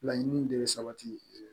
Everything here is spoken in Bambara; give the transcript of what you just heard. Laɲini de bɛ sabati